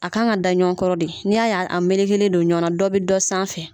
A k kan ka da ɲɔgɔn kɔrɔ de n'i y' y'a mele kelen don ɲɔgɔnna dɔ bɛ dɔ sanfɛ.